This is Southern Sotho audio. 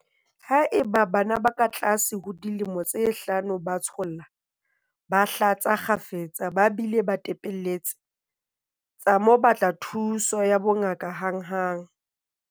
Haeba bana ba katlase ho dilemo tse hlano ba tsholla, ba hlatsa kgafetsa ba bile ba tepelletse, tsa mo batla thuso ya bongaka hanghang.